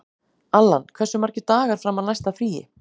Allan, hversu margir dagar fram að næsta fríi?